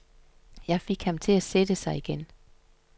Jeg fik ham til at sætte sig igen.